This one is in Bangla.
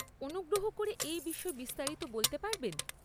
অনুগ্রহ করে এই বিষয়ে বিস্তারিত বলতে পারবেন?